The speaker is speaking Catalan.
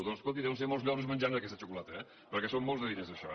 doncs escolti deuen ser molts lloros menjant aquesta xocolata eh perquè són molts diners això